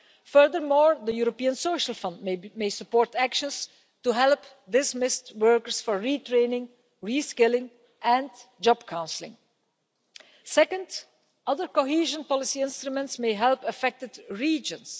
Furthermore, the European Social Fund may support actions to help dismissed workers for retraining, reskilling and job counselling. Second, other cohesion policy instruments may help affected regions.